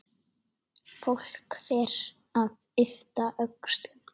Fólk fer að yppta öxlum.